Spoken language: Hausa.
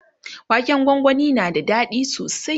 waken gwangwani na da daɗi sosai